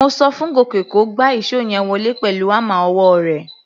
Mo so fún Gòkè kó gba ìṣó yẹn wọlé pẹ̀lú hámà ọwọ́ rẹ̀.